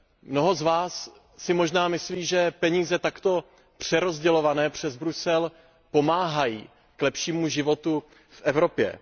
Mnoho z vás si možná myslí, že peníze takto přerozdělované přes Brusel pomáhají k lepšímu životu v Evropě.